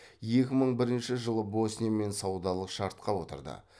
екі мың бірінші жылы босниямен саудалық шартқа отырды